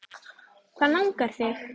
Hvað langar þig?